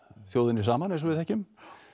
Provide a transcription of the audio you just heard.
þjóðinni saman eins og við þekkjum